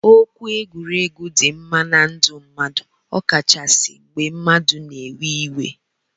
Okwu egwuregwu di mma na ndu mmadu ọkachasi mgbe mmadu na ewe iwe.